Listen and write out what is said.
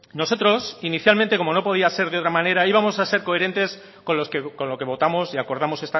nosotros inicialmente como no podía ser de otra manera íbamos a ser coherentes con lo que votamos y acordamos